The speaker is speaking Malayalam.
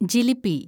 ജിലിപി